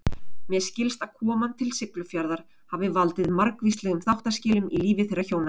Mér skilst að koman til Siglufjarðar hafi valdið margvíslegum þáttaskilum í lífi þeirra hjóna.